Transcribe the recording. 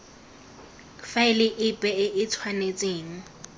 faele epe e e tshwanetseng